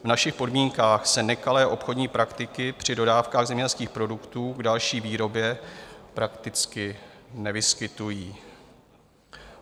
V našich podmínkách se nekalé obchodní praktiky při dodávkách zemědělských produktů k další výrobě prakticky nevyskytují.